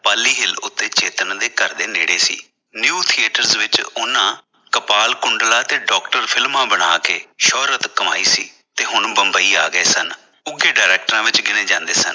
ਪਾਲੀਹਿਲ ਉਤੇ ਚੇਤਨ ਦੇ ਘਰ ਦੇ ਨੇੜੇ ਸੀ new theatres ਵਿਚ ਉਨ੍ਹਾਂ ਕਪਾਲ ਕੁੰਡਲਾ ਤੇ ਡਾਕਟਰਾ ਫਿਲਮਾਂ ਬਣਾ ਕੇ ਸ਼ੋਹਰਤ ਕਮਾਈ ਸੀ ਤੇ ਹੁਣ ਬੰਬਈ ਆ ਗਏ ਸਨ ਉਘੇ ਡਾਇਰੈਕਟਰਾਂ ਵਿਚ ਗਿਣੇ ਜਾਂਦੇ ਸਨ।